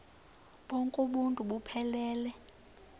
bonk uuntu buphelele